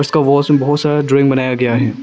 में बहुत सारा ड्राइंग बनाया गया है।